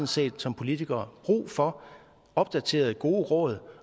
set som politikere brug for opdaterede gode råd